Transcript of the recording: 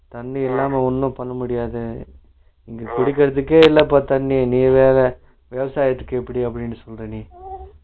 தண்ணி இல்லாம ஒன்னும் பண்ண முடியாது, இங்க குடிக்கிரதுக்கே இல்லப்பா தண்ணி நீவேற விவசாத்துக்கு எப்படி அப்படி சொல்ற நீ